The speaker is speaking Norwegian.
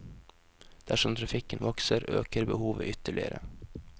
Dersom trafikken vokser, øker behovet ytterligere.